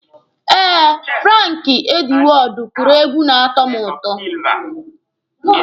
Eh, Franki Edwọọdụ kụrụ egwu na-atọ mụ ụtọ.